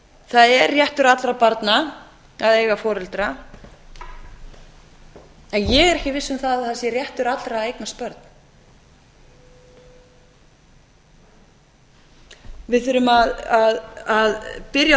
það er réttur allra barna að eiga foreldra en ég er ekki viss um að það sé réttur allra að eignast börn við þurfum að byrja